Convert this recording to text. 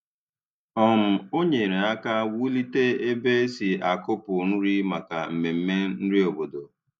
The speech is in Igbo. um Ọ nyerè aka wùlite ebe e si akùpụ nri maka mmemme nri obodo.